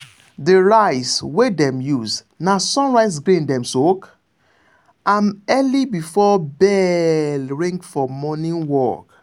the rice wey dem use na sunrise grain dem soak am early before bell ring for morning work.